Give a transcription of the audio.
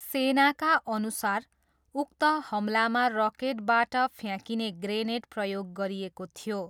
सेनाका अनुसार उक्त हमलामा रकेटबाट फ्याकिने ग्रेनेड प्रयोग गरिएको थियो।